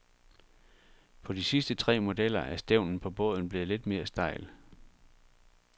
På de sidste tre modeller er stævnen på båden blevet lidt mere stejl.